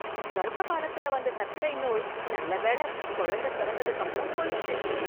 கர்ப்ப காலத்தில வந்த சர்க்கரை நோய், நல்லவேள, குழந்தை பிறந்ததுக்கப்பறம் போய்டுச்சு...